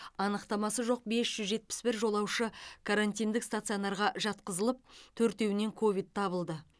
анықтамасы жоқ бес жүз жетпіс бір жолаушы карантиндік стационарға жатқызылып төртеуінен ковид табылды